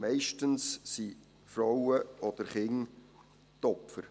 Meist sind Frauen oder Kinder die Opfer.